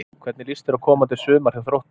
Hvernig líst þér á komandi sumar hjá Þrótti?